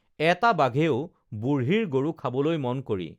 এটা বাঘেও বুঢ়ীৰ গৰু খাবলৈ মন কৰি